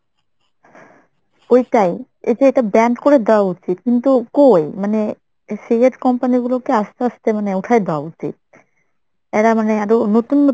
ওইটাই এই যে এইটা banned করে দেওয়া উচিত কিন্তু কই মানে cigarette company গুলোকে আস্তে আস্তে মানে উঠায় দেওয়া উচিত এরা মানে আরো নতুন নতুন